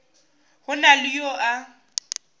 go na le yo a